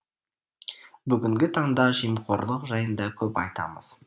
бүгінгі таңда жемқорлық жайында көп айтамыз